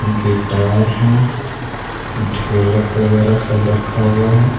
Guitar हैं ढोलक वगैरा सब रखा हुआ है।